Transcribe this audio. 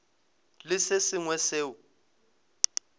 le se sengwe seo se